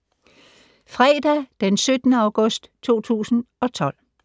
Fredag d. 17. august 2012